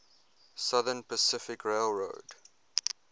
southern pacific railroad